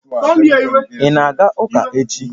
Ị na-aga ụka echi?